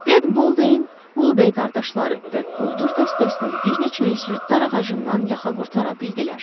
Ted Bolden, Vulbey qardaşları və quldur dəstəsinin bir neçə üzvü darağacından yaxa qurtara bildilər.